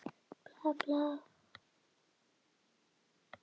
Ég er maðurinn!